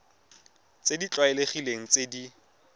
tse di tlwaelegileng tse di